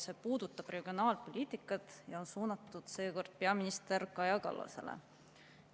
See puudutab regionaalpoliitikat ja on suunatud peaminister Kaja Kallasele.